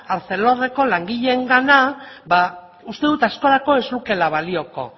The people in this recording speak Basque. arcelorreko langileengana ba uste dut askorako ez lukeela balioko